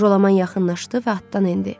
Jolaman yaxınlaşdı və atdan endi.